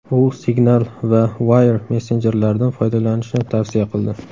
U Signal va Wire messenjerlaridan foydalanishni tavsiya qildi.